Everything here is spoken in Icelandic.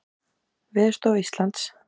Mynd: Veðurstofa Íslands.